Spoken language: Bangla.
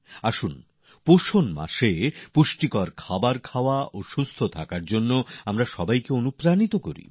আসুন পুষ্টির মাসে পুষ্টিকর খাদ্য সুস্থ থাকার জন্য আমাদের সবাইকে প্রেরণা দিক